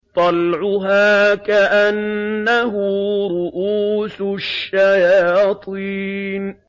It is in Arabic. طَلْعُهَا كَأَنَّهُ رُءُوسُ الشَّيَاطِينِ